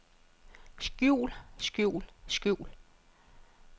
skjul skjul skjul